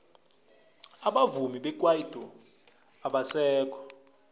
abavumi bekwaito abasekho